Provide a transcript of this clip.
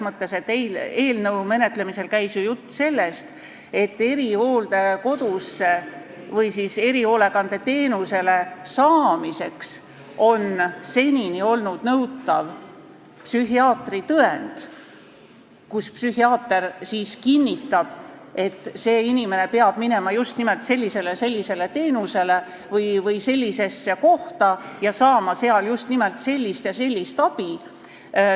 Eelnõu menetlemisel käis ju jutt sellest, et erihooldekodus või erihoolekande teenuse saamiseks on senini olnud nõutav psühhiaatri tõend, kus psühhiaater kinnitab, et see inimene peab saama just nimelt sellist ja sellist teenust või ta peab minema sellisesse kohta ja saama seal just nimelt sellist ja sellist abi.